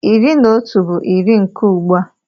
Iri na otu bụ iri nke ugbua.